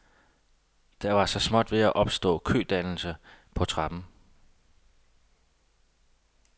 Der var så småt ved at opstå kødannelser på trappen.